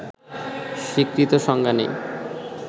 স্বীকৃত সংজ্ঞা নেই